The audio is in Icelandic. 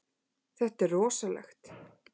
Þetta er rosalegt.